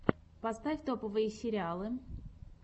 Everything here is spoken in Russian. поставь топовые сериалы